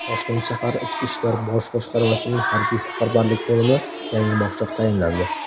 Toshkent shahar Ichki ishlar bosh boshqarmasining Harbiy-safarbarlik bo‘limi yangi boshliq tayinlandi.